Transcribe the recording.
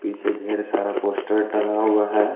पीछे ढेर सारा पोस्टर टंगा हुआ है।